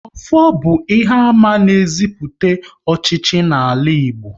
Ọfọ bụ ihe àmà na eziputa ọchịchị n'ala Igbo